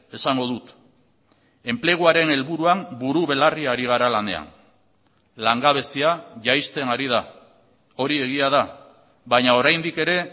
esango dut enpleguaren helburuan buru belarri ari gara lanean langabezia jaisten ari da hori egia da baina oraindik ere